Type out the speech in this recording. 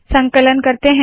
संकलन करते है